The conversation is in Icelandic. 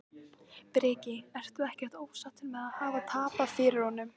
Breki: Ertu ekkert ósáttur með að hafa tapað fyrir honum?